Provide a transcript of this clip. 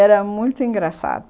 Era muito engraçado.